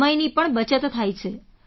સમયની પણ બચત થાય છે